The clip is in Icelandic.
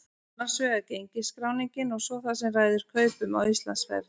Annars vegar gengisskráningin og svo það sem ræður kaupum á Íslandsferð.